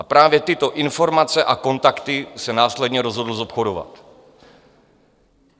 A právě tyto informace a kontakty se následně rozhodl zobchodovat.